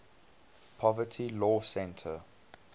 poverty law center